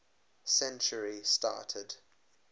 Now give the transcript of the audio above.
century started